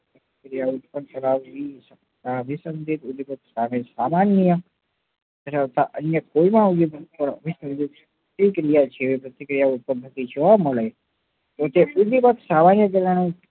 ક્રિયા ઉત્પન્ન કરાવી સામાન્ય ધરાવતા અન્ય કોઈ નાં તે ક્રિયા જે પ્રતિક્રિયા ઉત્પન્ન થતી જોવા મળે એ